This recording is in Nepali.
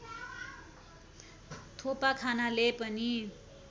थोपा खानाले पनि